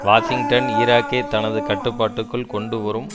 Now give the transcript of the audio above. Washington ஈராக்கை தனது கட்டுப்பாட்டுக்குள் கொண்டு வரும்